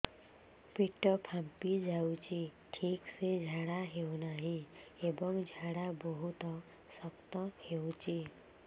ପେଟ ଫାମ୍ପି ଯାଉଛି ଠିକ ସେ ଝାଡା ହେଉନାହିଁ ଏବଂ ଝାଡା ବହୁତ ଶକ୍ତ ହେଉଛି